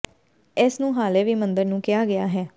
ਇਸ ਨੂੰ ਹਾਲੇ ਵੀ ਮੰਦਰ ਨੂੰ ਕਿਹਾ ਗਿਆ ਹੈ